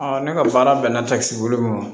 ne ka baara bɛnna ta kisi bolo ma